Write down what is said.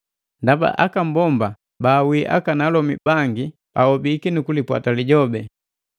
Ndaba aka mbomba bawii akalomi bangi ahobiki nukulipwata Lijobi.